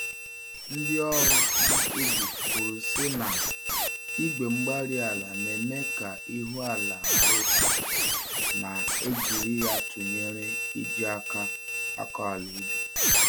Ndị ọrụ um ubi kwuru sị na, Igwe-mgbárí-ala na-eme ka k'ihu-ala hara otú, ma e jiri ya tụnyere iji àkà akọ àlà ubi